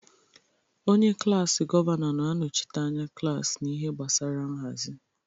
Onye klaasị gọvanọ na-anọchite anya klaasị n'ihe gbasara nhazi.